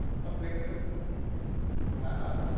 হ্যাঁ play টার হ্যাঁ হ্যাঁ